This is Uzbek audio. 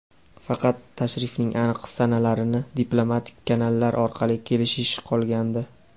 faqat tashrifning aniq sanalarini diplomatik kanallar orqali kelishish qolgandi.